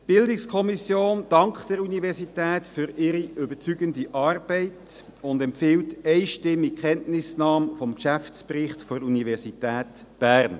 Die BiK dankt der Universität für ihre überzeugende Arbeit und empfiehlt einstimmig die Kenntnisnahme des Geschäftsberichts der Universität Bern.